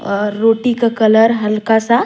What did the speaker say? और रोटी का कलर हल्का सा--